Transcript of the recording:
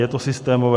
Je to systémové?